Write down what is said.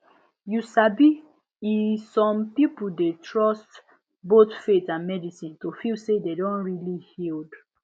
you sabi e some people dey trust both faith and medicine to feel say dem don really healed